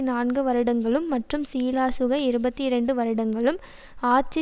நான்கு வருடங்களும் மற்றும் ஸ்ரீலசுக இருபத்தி இரண்டு வருடங்களும் ஆட்சி